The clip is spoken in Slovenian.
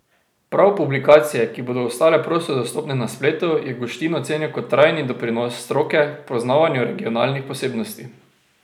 Prav publikacije, ki bodo ostale prosto dostopne na spletu, je Guštin ocenil kot trajni doprinos stroke k poznavanju regionalnih posebnosti.